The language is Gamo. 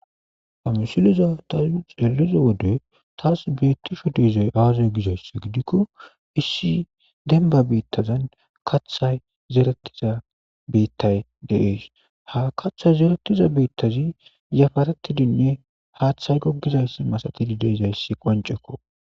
ha misileza xelelizo wode taas beettishe de7izay awazay gizayssa gidikko issi denba bittazan kaththay zeretiza beettay dees ha kaththay zerettiza beettazi yafaretidinne haaththay gogizayssa masatidi de7izayssi qoncekko.